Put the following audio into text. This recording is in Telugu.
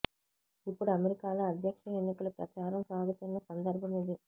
ఇప్పుడు అమెరికాలో అధ్యక్ష ఎన్నిక లు ప్రచారం సాగుతున్న సందర్భమిది